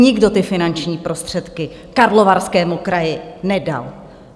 Nikdo ty finanční prostředky Karlovarskému kraji nedal.